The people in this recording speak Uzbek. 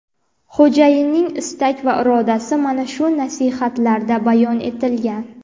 Xo‘jayinning istak va irodasi mana shu nasihatlarda bayon etilgan.